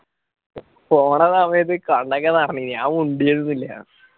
പോണ സമയത്തു കണ്ണൊക്കെ നിറഞ്ഞിനു ഞാൻ മുണ്ടിയതും ഇല്ല